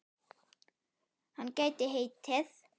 Hann gæti heitið